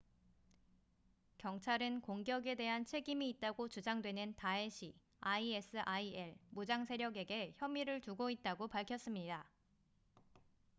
경찰은 공격에 대한 책임이 있다고 주장되는 다에시isil 무장세력에게 혐의를 두고 있다고 밝혔습니다